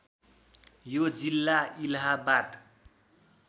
यो जिल्ला इलाहाबाद